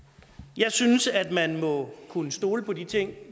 jeg synes at man må kunne stole på de ting